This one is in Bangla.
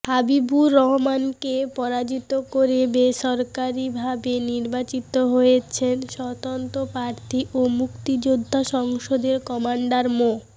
হাবিবুর রহমানকে পরাজিত করে বেসরকারিভাবে নির্বাচিত হয়েছেন স্বতন্ত্র প্রার্থী ও মুক্তিযোদ্ধা সংসদের কমান্ডার মো